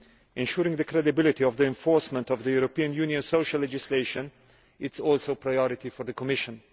Ensuring the credibility of the enforcement of the European Union's social legislation is also a priority for the Commission.